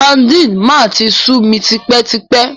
Sadínì máa ti sú mi tipẹ́ tipẹ́.